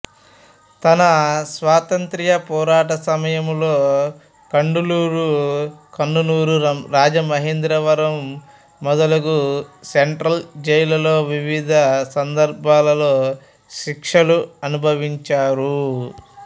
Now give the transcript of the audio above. తన స్వాతంత్ర్య పోరాట సమయమలో కడలూరు కన్ననూరు రాజమహేంద్రవరం మొదలగు సెంట్రల్ జైల్లలో వివిధ సందర్భాలలో శిక్షలు అనుభవించారు